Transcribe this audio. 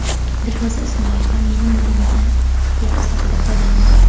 Dilfuza Ismoilova mening nomimdan piar sifatida foydalanibdi.